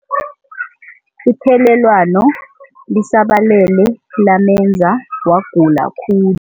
Ithelelwano lisabalele lamenza wagula khulu.